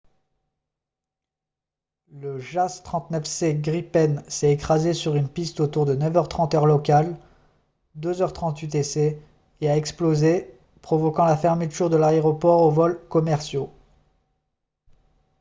le jas 39c gripen s’est écrasé sur une piste autour de 9 h 30 heure locale 0230 utc et a explosé provoquant la fermeture de l’aéroport aux vols commerciaux